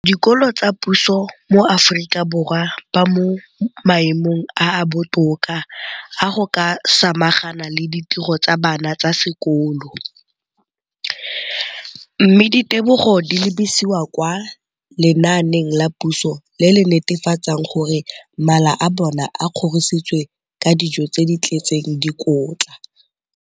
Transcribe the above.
dikolo tsa puso mo Aforika Borwa ba mo maemong a a botoka a go ka samagana le ditiro tsa bona tsa sekolo, mme ditebogo di lebisiwa kwa lenaaneng la puso le le netefatsang gore mala a bona a kgorisitswe ka dijo tse di tletseng dikotla.